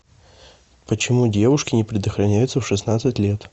почему девушки не предохраняются в шестнадцать лет